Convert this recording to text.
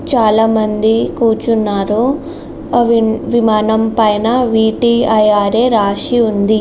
చాలామంది కూర్చున్నారు. విమానం పైన విటీ-ఐఆర్ఏ రాసి ఉంది.